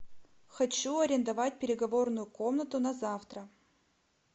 хочу арендовать переговорную комнату на завтра